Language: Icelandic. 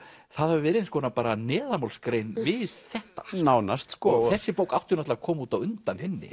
það hafi verið bara neðanmálsgrein við þetta nánast sko þessi bók átti náttúrulega að koma út á undan hinni